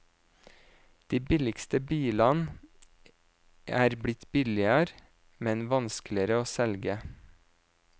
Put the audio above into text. De billigste bilene er blitt billigere, men vanskeligere å selge.